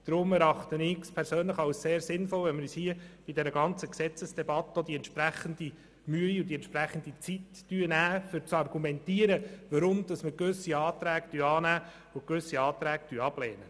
Darum erachte ich persönlich es als sehr sinnvoll, wenn wir uns hier in der Gesetzesdebatte auch die entsprechende Mühe und Zeit nehmen, um zu argumentieren, warum wir gewisse Anträge annehmen und gewisse ablehnen.